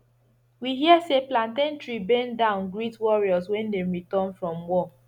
we hear say plantain tree bend down greet warriors when dem return from war